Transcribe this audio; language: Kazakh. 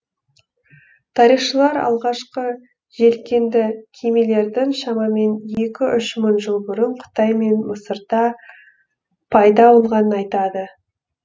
тарихшылар алғашқы желкенді кемелердің шамамен екі үш мың жыл бұрын қытай мен мысырда пайда болғанын айтады